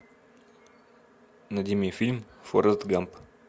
найди мне фильм форрест гамп